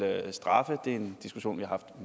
straffe det er en diskussion vi har haft